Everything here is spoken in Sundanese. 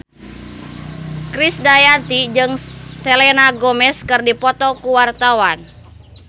Krisdayanti jeung Selena Gomez keur dipoto ku wartawan